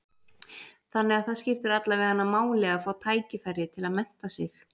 Þannig að það skiptir alla veganna máli að fá tækifæri til að mennta sig?